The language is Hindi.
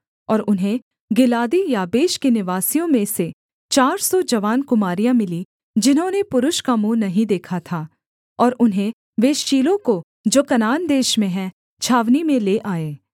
और उन्हें गिलादी याबेश के निवासियों में से चार सौ जवान कुमारियाँ मिलीं जिन्होंने पुरुष का मुँह नहीं देखा था और उन्हें वे शीलो को जो कनान देश में है छावनी में ले आए